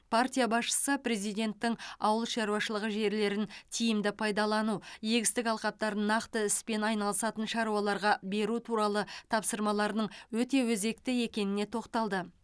партия басшысы президенттің ауыл шаруашылығы жерлерін тиімді пайдалану егістік алқаптарын нақты іспен айналысатын шаруаларға беру туралы тапсырмаларының өте өзекті екеніне тоқталды